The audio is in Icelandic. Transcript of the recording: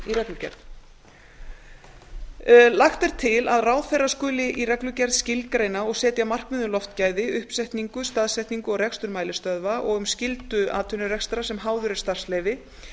í reglugerð lagt er til að ráðherra skuli í reglugerð skilgreina og setja markmið um loftgæði uppsetningu staðsetningu og rekstur mælistöðva og um skyldu atvinnurekstrar sem háður er starfsleyfi